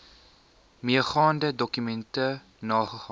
meegaande dokumente nagegaan